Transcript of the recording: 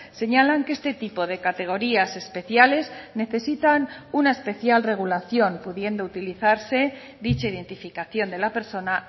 señalan que este tipo de categorías especiales necesitan una especial regulación pudiendo utilizarse dicha identificación de la persona